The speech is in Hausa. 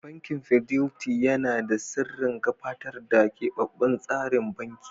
Bankin Fidelity yana shirin gabatar da keɓaɓɓen tsarin banki.